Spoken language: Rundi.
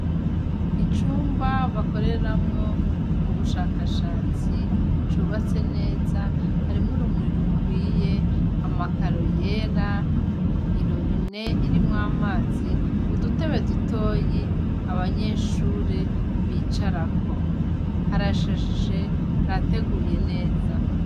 Icumba bakoreramwo ubushakashatsi cubatse neza, harimwo urumuri rukwiye, amakaro yera, irobine irimwo amazi, udutebe dutoyi abanyeshure bicarako, harashajije, harateguye neza.